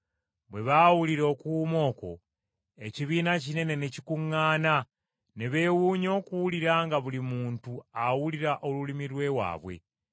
Bwe baawulira okuwuuma okwo, ekibiina kinene ne kikuŋŋaana, ne beewuunya okuwulira nga buli muntu awulira olulimi lw’ewaabwe.